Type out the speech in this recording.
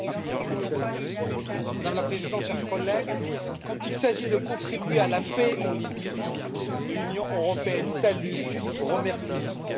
Madame la Présidente, chers collègues, quand il s'agit de contribuer à la paix en Libye, l'Union européenne salue, remercie, regrette, consulte.